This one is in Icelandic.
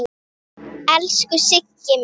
Elsku Siggi minn.